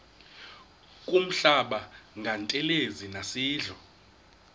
kuhlamba ngantelezi nasidlo